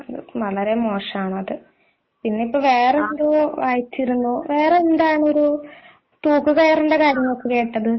വളരെ മോശമാണ് അത് പിന്നെ ഇപ്പൊ വേറെന്തോ വായിച്ചിരുന്നു വേറെ എന്താണ് ഒരു ആർ=കാര്യം കേട്ടത്